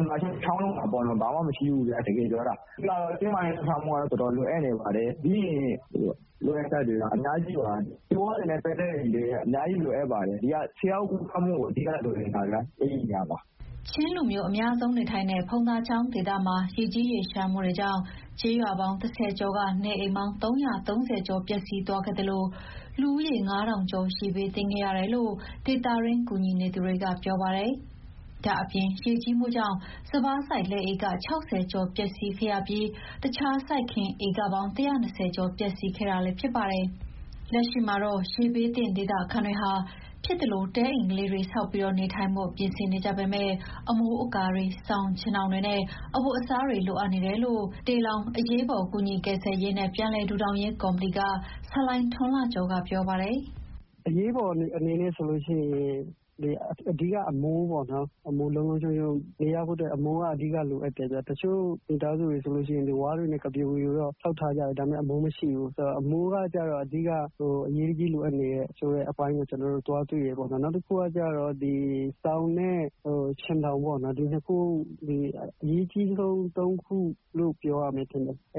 မှမရှိဘူး။ တကယ်ပြောတာ။ လိုအပ်ချက်တွေက အများကြီးပါ။ ဆေးဝါးတွေနဲ့ပတ်သက်ရင် အများကြီးလိုအပ်နေတာ။” ချင်းလူမျိုးအများဆုံးနေထိုင်တဲ့ ဖုံချောင်းဒေသမှာ ရေကြီးရေလျှံမှုတွေကြောင့် ကျေးရွာပေါင်း ၁ဝ ကျော်က နေအိမ်ပေါင်း ၃၃ဝ ကျော်ပျက်စီးသွားခဲ့သလို လူဦးရေ ၅,ဝဝဝ ကျော် ရေဘေးသင့်ခဲ့ရတယ် လို့ ဒေသတွင်း ကူညီသူတွေကပြောပါတယ်။ ဒါ့အပြင်ရေကြီးမှုကြောင့် စပါးစိုက်လယ်ဧက ၆ဝ ကျော် ပျက်စီးခဲ့သလို တခြားစိုက်ခင်း ဧက ၁၂ဝ ကျော် ပျက်စီးခဲ့တာလည်း ဖြစ်ပါတယ်။ လက်ရှိမှာတော့ ရေဘေးသင့်ဒေသခံတွေဟာ ဖြစ်သလို တဲအိမ်လေးတွေဆောက်ပြီးနေထိုင်ဖို့ ပြင်ဆင် နေကြပေမယ့် အမိုးအကာတွေ၊ စောင်၊ ခြင်ထောင်တွေနဲ့ အဝတ်အစားတွေ လိုအပ်နေတယ်လို့ တေလောင်အရေးပေါ်ကူညီရေးကယ်ဆယ်ရေးနဲ့ ပြန်လည်ထူထောင်ရေးကော်မတီက ဆလိုင်းထွန်းလှကျော်က ပြောပါတယ်။ “အရေးပေါ်အခြေအနေလိုအပ်နေတာကတော့ အဓိက အမိုးပေါ့နော်၊ တချို့မိသားစုတွေဆိုရင် ဝါးတွေနဲ့ဖြစ်သလို ဆောက်ထားတာတွေ့ရတယ်။ ဒါပေမယ့် အမိုးမရှိဘူး။ အမိုးကကျတော့ အရေးတကြီးလိုအပ်နေတဲ့အပိုင်း တွေ့ခဲ့တယ်။ နောက်တခုက စောင်နဲ့ခြင်ထောင်ပေါ့နော်၊ အရေးကြီးဆုံး ၃ ခုလို့ ပြောရမယ်ထင်တယ်။ အ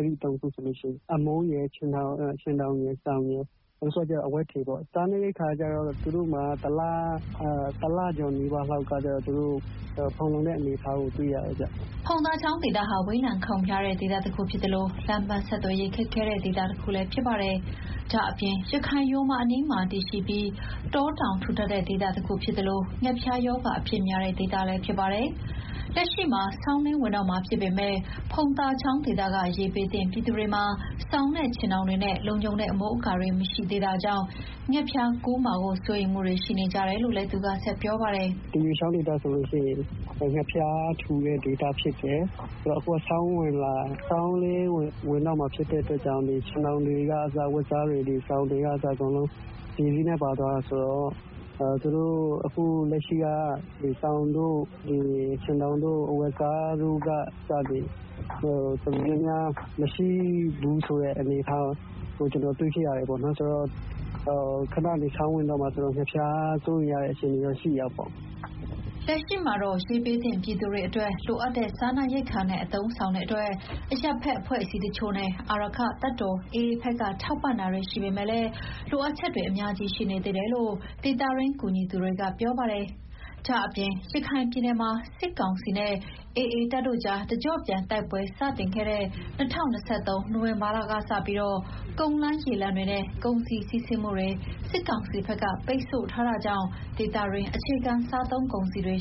မိုးရယ်၊ ခြင်ထောင်ရယ်၊ စောင်ရယ်၊ နောက် တခုကျတော့ အဝတ်အထည်ပေါ့၊ စားနပ်ရိက္ခာကကျတော့ သူတို့အတွက် တလကျော်လောက်အတွက် ဖူလုံတဲ့ အနေအထားတွေ့ရတယ်ဗျာ။” ဖုံသာချောင်းဒေသဟာ ဝေးလံခေါင်ဖျားတဲ့ဒေသတခုဖြစ်သလို လမ်းပန်းဆက်သွယ်ရေးလည်း ခက်ခဲပါတယ်။ ဒါ့အပြင် ရခိုင်ရိုးမအနီးမှာတည်ရှိပြီး တောတောင်ထူထပ်တဲ့ ဒေသတခုဖြစ်သလို ငှက်ဖျားရောဂါအဖြစ်များတဲ့ ဒေသလည်းဖြစ်ပါတယ်။ လက်ရှိမှာ ဆောင်းဝင်တော့မှာဖြစ်ပေမယ့် ဖုံသာချောင်းဒေသက ရေဘေးသင့်ပြည်သူတွေမှာ စောင်နဲ့ခြင်ထောင်တွေနဲ့ လုံခြုံတဲ့အမိုးအကာတွေ မရှိသေးတာကြောင့် ငှက်ဖျားစိုးရိမ်မှုတွေရှိနေကြတယ်လို့လည်း သူကဆက်ပြောပါတယ်။ “အဲဒီဒေသဆိုရင် ငှက်ဖျားထူတဲ့ ဒေသဖြစ်တယ်။ အခုက ဆောင်းလည်းဝင်တော့မှာဖြစ်တဲ့အတွက် ခြင်ထောင်တွေ၊ အဝတ်အစားတွေ၊ စောင်တွေအကုန်လုံး ရေစီးနဲ့ပါသွားတာဆိုတော့ အခုလက်ရှိက စောင်တို့၊ ခြင်တောင်တို့၊ အဝတ်အစားတို့က မရှိဘူးဆိုတဲ့အနေအထား ကျနော်တွေ့ခဲ့ရတယ်။ မကြာခင် ဆောင်းဝင်တော့မယ်ဆိုတော့ ငှက်ဖျားစိုးရိမ်ရတဲ့အနေအထားတော့ရှိတာပေါ့။” လက်ရှိမှာတော့ ရေဘေးသင့်ပြည်သူတွေအတွက် လိုအပ်တဲ့စားနပ်ရိက္ခာနဲ့ အသုံးအဆောင်တွေ အတွက် အရပ်ဘက်အဖွဲ့အစည်းတချို့နဲ့ အာရက္ခတပ်တော် AA ဘက်က ထောက်ပံ့တာတွေ ရှိပေမယ့်လည်း လိုအပ်ချက်တွေအများကြီးရှိနေသေးတယ်လို့ ဒေသတွင်းကူညီသူတွေက ပြောကြပါတယ်။ ဒါ့အပြင် ရခိုင်ပြည်နယ်မှာ စစ်ကောင်စီနဲ့ AA ကြား တကြော့ပြန်တိုက်ပွဲတွေ စတင်ခဲ့တဲ့ ပြီးခဲ့တဲ့ ၂၀၂၃ ခုနှစ် နိုဝင်ဘာလကနေ ကုန်းလမ်းရေလမ်းတွေနဲ့ ကုန်စည်စီးဆင်းမှုတွေကို စစ်ကောင်စီက ပိတ်ဆို့ထားတာကြောင့် ဒေသတွင်း အခြေခံစားသုံးကုန်စည်တွေ